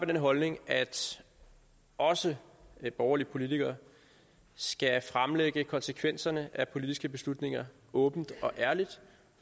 den holdning at også borgerlige politikere skal fremlægge konsekvenserne af politiske beslutninger åbent og ærligt